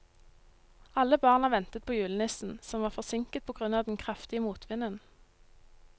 Alle barna ventet på julenissen, som var forsinket på grunn av den kraftige motvinden.